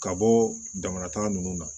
Ka bɔ jamana ta nunnu na